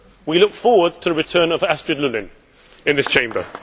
We look forward to the return of Astrid Lulling in this Chamber.